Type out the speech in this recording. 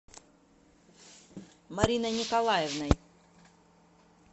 мариной николаевной